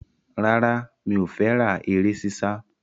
Rárá, mi ò fẹ́rà eré sísá.